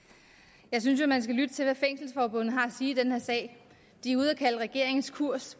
jeg synes jo at man skal lytte til hvad fængselsforbundet har at sige i den her sag de er ude at kalde regeringens kurs